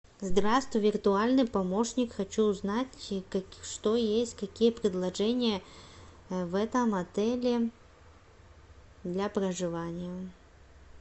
здравствуй виртуальный помощник хочу узнать что есть какие предложения в этом отеле для проживания